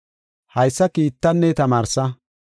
Haysa kiittanne tamaarsa.